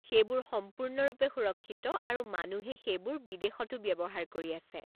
সেইবোৰ সম্পূৰ্ণৰূপে সুৰক্ষিত আৰু মানুহে সেইবোৰ বিদেশতো ব্যৱহাৰ কৰি আছে।